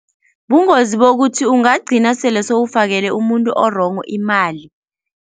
Bungozi bokuthi ungagcina sele sewufakele umuntu o-wrong imali.